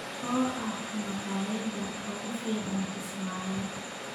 oo ah makhaayadda ugu fiican Kismayo